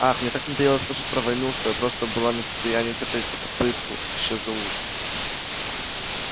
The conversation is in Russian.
ах мне так надоело слушать про войну что я просто была не в состоянии терпеть эту попытку ещё и за ужином